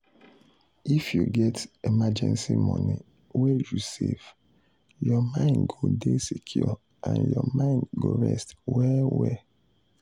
if you get emergency money wey you save your money go dey secure and your mind go rest well well.